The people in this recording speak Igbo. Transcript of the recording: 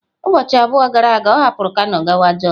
Ụbọchị abụọ gara aga ọ hapụrụ kano gawa jos.